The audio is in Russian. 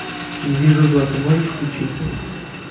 не вижу зла ты можешь включить